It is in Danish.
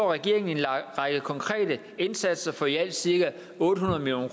regeringen en række konkrete indsatser for i alt cirka otte hundrede million